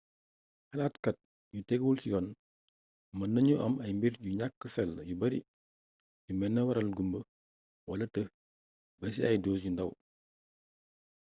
xalaatkat yu tegguwul ci yoon mën nañu am ay mbir yu ñàkk sell yu bari yu mëna waral gumbë wala tëx ba ci ay dose yu ndàw